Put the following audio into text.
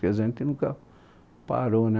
Quer dizer, a gente nunca parou, né?